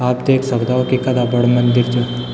आप देख सक्दौ की कथा बड़ू मंदिर च।